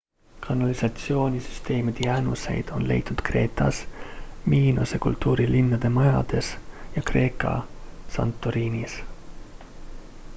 kanalisatsioonisüsteemide jäänuseid on leitud kreetas minose kultuuri linnade majades ja kreekas santorinis